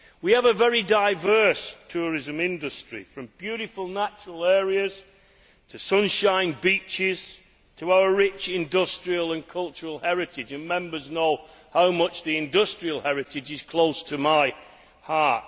We have a very diverse tourism industry from beautiful natural areas to sunshine beaches to our rich industrial and cultural heritage and Members know how much industrial heritage is close to my heart.